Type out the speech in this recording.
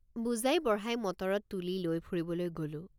বুজাইবঢ়াই মটৰত তুলি লৈ ফুৰিবলৈ গলোঁ।